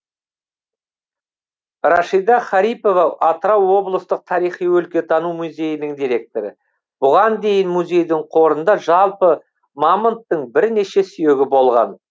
рашида харипова атырау облыстық тарихи өлкетану музейінің директоры бұған дейін музейдің қорында жалпы мамонттың бірнеше сүйегі болған